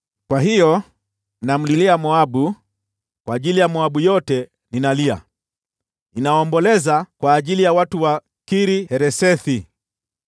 Kwa hiyo namlilia Moabu, kwa ajili ya Moabu yote ninalia, ninaomboleza kwa ajili ya watu wa Kir-Haresethi.